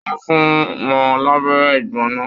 Wọn fún wọn labẹ́rẹ́ igbona.